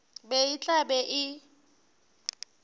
be e tla be e